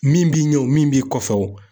Min b'i ɲɛ o, min b'i kɔfɛ o